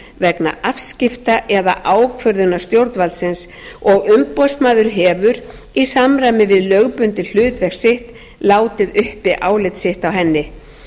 vega afskipta eða ákvörðunar stjórnvaldsins og umboðsmaður hefur í samræmi við lögbundið hlutverk sitt látið uppi álit sitt á henni